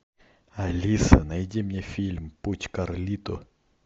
алиса найди мне фильм путь карлито